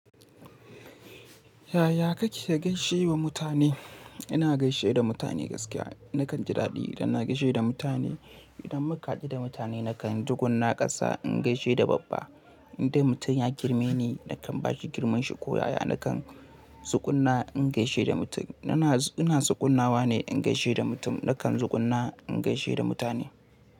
Yaya kake gaishe wa mutane? Ina gaishe da mutane gaskiya. Nakan ji daɗi idan na gaishe da mutane. Idan muka hadu da mutane nakan tsugunna ƙasa in gaishe da babba. Indai mutum ya girme ni nakan bashi girmanshi ko yaya nakan tsugunna in gaishe da mutum. Ina, ina tsugunnawa ne in gaishe da mutum. Nakan tsugunna in gaishe da mutane.